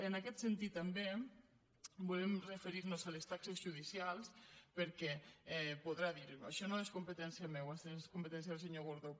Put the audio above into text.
en aquest sentit també volem referir nos a les taxes judicials perquè podrà dir això no és competència meva és competència del senyor gordó